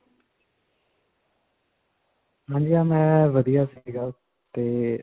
ਮੈਂ ਵਧੀਆ ਸੀਗਾ ਤੇ.